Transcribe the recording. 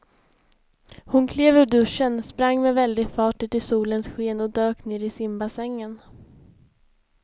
Hon klev ur duschen, sprang med väldig fart ut i solens sken och dök ner i simbassängen.